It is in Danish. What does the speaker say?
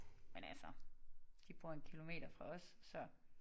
Men altså de bor 1 kilometer fra os så